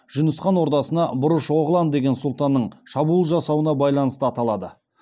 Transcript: жүніс хан ордасына бұрыш оғлан деген сұлтанның шабуыл жасауына байланысты аталады